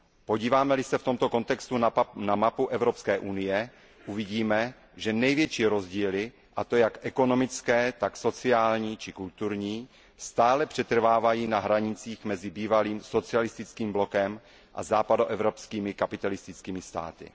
Podíváme li se v tomto kontextu na mapu Evropské unie, uvidíme, že největší rozdíly, a to jak ekonomické, tak sociální či kulturní, stále přetrvávají na hranicích mezi bývalým socialistickým blokem a západoevropskými kapitalistickými státy.